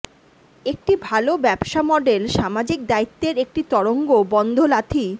একটি ভাল ব্যবসা মডেল সামাজিক দায়িত্বের একটি তরঙ্গ বন্ধ লাথি